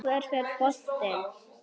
Hvert fer boltinn?